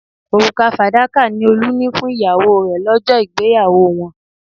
Òrùka fàdákà ni Olú ni fún ìyàwó rẹ̀ lọ́jọ́ ìgbéyàwó wọn